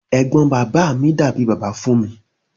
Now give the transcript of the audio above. Ẹgbọn bàbá mi dàbí bàbá fún mi.